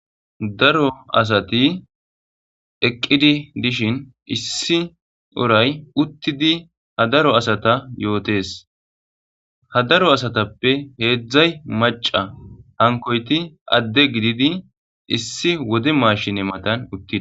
Daro asay eqqidi dishin issi uray uttidi ha daro asas yootees. Ha daro asatappe heedzay macca hankoyti adde gididi issi wode maashine matan uttida.